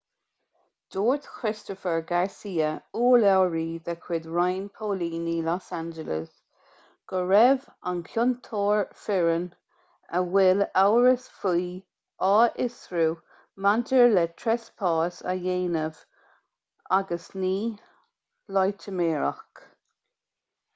dúirt christopher garcia urlabhraí de chuid roinn póilíní los angeles go raibh an ciontóir fireann a bhfuil amhras faoi á fhiosrú maidir le treaspás a dhéanamh agus ní loitiméireacht